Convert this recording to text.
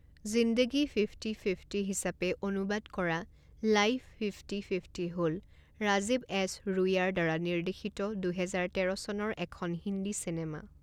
জিন্দেগী fifty fifty হিচাপে অনুবাদ কৰা লাইফ ফিফটি ফিফটি হ'ল ৰাজীৱ এছ ৰুইয়াৰ দ্বাৰা নিৰ্দেশিত দুহেজাৰ তেৰ চনৰ এখন হিন্দী চিনেমা।